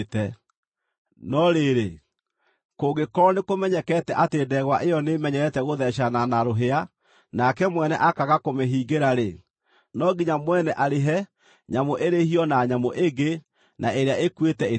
No rĩrĩ, kũngĩkorwo nĩkũmenyekete atĩ ndegwa ĩyo nĩĩmenyerete gũtheecana na rũhĩa, nake mwene akaaga kũmĩhingĩra-rĩ, no nginya mwene arĩhe, nyamũ ĩrĩhio na nyamũ ĩngĩ, na ĩrĩa ĩkuĩte ĩtuĩke yake.